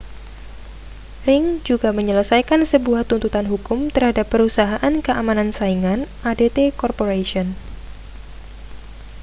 ring juga menyelesaikan sebuah tuntutan hukum terhadap perusahaan keamanan saingan adt corporation